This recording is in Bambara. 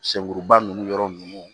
Senkuruba ninnu yɔrɔ ninnu